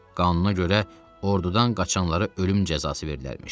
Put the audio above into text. Qanuna görə ordudan qaçanlara ölüm cəzası verilərmiş.